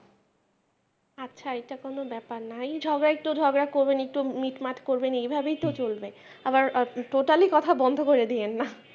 আচ্ছা এটা কোন ব্যাপার নায় ঝগড়া একটু ঝগড়া করবেন একটু মিটমাট করবেন এইভাবেই তো চলবে আবার totally কথা বন্ধ করে দিয়েন না।